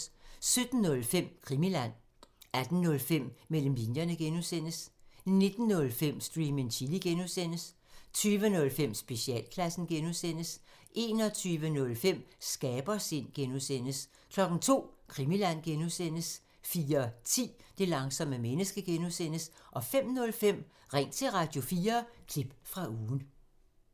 17:05: Krimiland 18:05: Mellem linjerne (G) 19:05: Stream and chill (G) 20:05: Specialklassen 21:05: Skabersind (G) 02:00: Krimiland (G) 04:10: Det langsomme menneske (G) 05:05: Ring til Radio4 – klip fra ugen